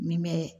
Min bɛ